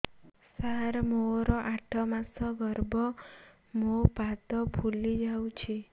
ସାର ମୋର ଆଠ ମାସ ଗର୍ଭ ମୋ ପାଦ ଫୁଲିଯାଉଛି